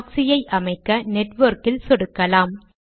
ப்ராக்ஸியை அமைக்க நெட்வொர்க் இல் சொடுக்கலாம்